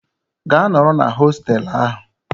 Gaa nọrọ na hoteelu ahụ!